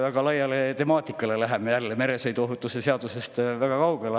Väga laia temaatika juurde läheme jälle, meresõiduohutuse seadusest väga kaugele.